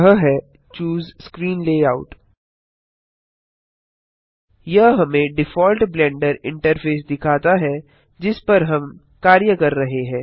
यह है choose screen layout यह हमें डिफ़ॉल्ट ब्लेंडर इंटरफेस दिखाता है जिस पर हम कार्य कर रहे हैं